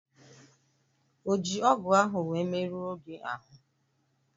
O ji ọgụ ahụ wee merụọ gị ahụ?